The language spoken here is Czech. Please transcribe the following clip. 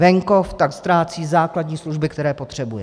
Venkov tak ztrácí základní služby, které potřebuje.